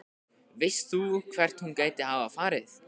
Veist þú hvert hún gæti hafa farið?